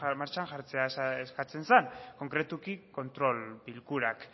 martxan jartzea eskatzen zen konkretuki kontrol bilkurak